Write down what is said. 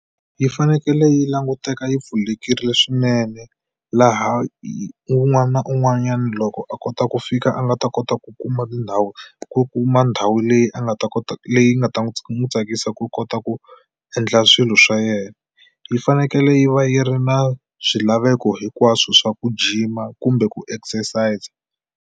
Yi fanekele yi languteka yi pfulekile swinene laha un'wana na un'wanyani loko a kota ku fika a nga ta kota ku kuma tindhawu ku kuma ndhawu leyi a nga ta kota leyi nga ta n'wi tsakisa ku kota ku endla swilo swa yena. Yi fanekele yi va yi ri na swilaveko hinkwaswo swa ku gym-a kumbe ku exercise.